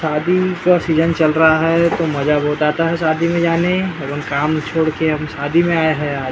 शादी का सीज़न चल रहा है तो मजा बहोत आता है शादी में जाने अब हम काम छोड़ के हम शादी में आये हैं आ --